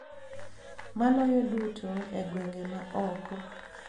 Maloyo duto e gwenge ma oko.